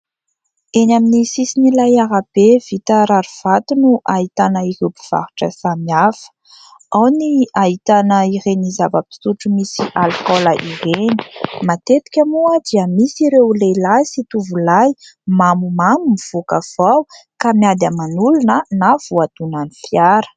Eny amin'ny sisin'ilay arabe vita rarivato no ahitana ireo mpivarotra samihafa. Ao ny ahitana ireny zava-pisotro misy alikaola ireny. Matetika moa dia misy ireo lehilahy sy tovolahy mamomamo mivoaka avy ao ka miady aman'olona na voadonan'ny fiara.